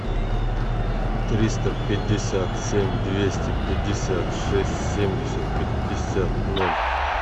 триста пятьдесят семь двести пятьдесят шесть семьдесят пятьдесят ноль